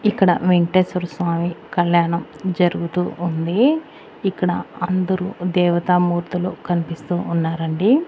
ఇక్కడ వెంకటేశ్వర స్వామి కళ్యాణం జరుగుతూ ఉంది ఇక్కడ అందరూ దేవతా మూర్తులు కనిపిస్తూ ఉన్నారండి.